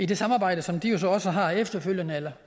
det samarbejde som de jo så også har efterfølgende eller